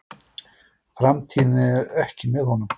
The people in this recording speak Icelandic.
Framtíðin er ekki með honum.